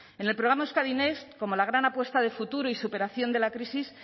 en el programa euskadi next como la gran apuesta de futuro y superación de la crisis